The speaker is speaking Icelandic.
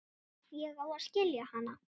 Ég á að skilja hana.